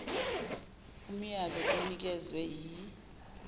umyalo onikezwe yi